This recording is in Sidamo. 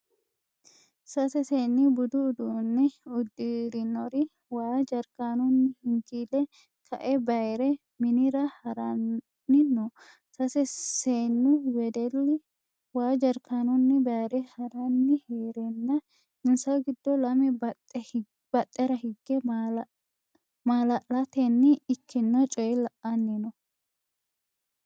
Sase seenni budu uduunne uddinirori waa jarkaanunni hinkii'le ka'e bayire minira haranni no. sase Seennu wedelli waa jarkaanunni bayire haranni hereenna insa giddo lame badhera hige maalaletenni ikkino coye la'anni no.